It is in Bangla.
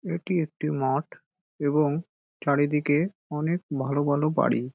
এটি একটি মাঠ এবং চারিদিকে অনেক ভালো ভালো বাড়ি।